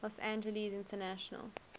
los angeles international